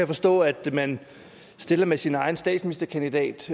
forstå at man stiller med sin egen statsministerkandidat